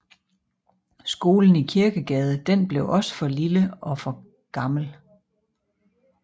Skolen i Kirkegade den blev også for lille og for gammel